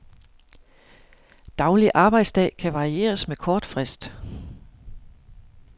Daglig arbejdsdag kan varieres med kort frist.